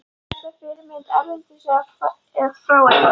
Er þetta fyrirmynd erlendis frá eða?